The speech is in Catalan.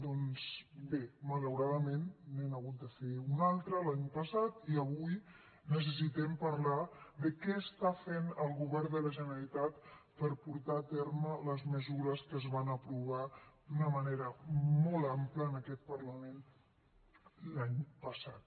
doncs bé malauradament n’hem hagut de fer un altre l’any passat i avui necessitem parlar de què està fent el govern de la generalitat per portar a terme les mesures que es van aprovar d’una manera molt àmplia en aquest parlament l’any passat